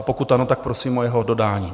A pokud ano, tak prosím o jeho dodání.